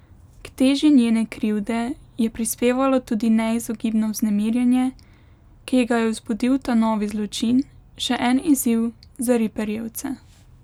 K teži njene krivde je prispevalo tudi neizogibno vznemirjenje, ki ji ga je vzbudil ta novi zločin, še en izziv za ripperjevce.